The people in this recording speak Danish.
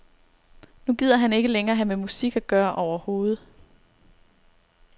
Nu gider han ikke længere have med musik at gøre overhovedet.